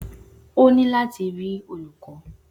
O ni lati ri olukọ